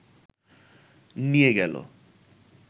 নিয়ে গেল